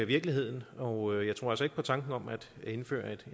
virkeligheden og jeg tror altså ikke på tanken om at indføre